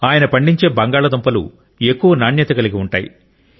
ఆయన పండించే బంగాళాదుంపలు ఎక్కువ నాణ్యత కలిగినవి